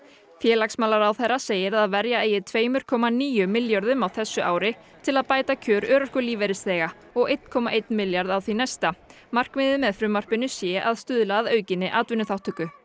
félagsmálaráðherra segir að verja eigi tvö komma níu milljörðum á þessu ári til að bæta kjör örorkulífeyrisþega og einum komma einum milljarði á því næsta markmiðið með frumvarpinu sé að stuðla að aukinni atvinnuþátttöku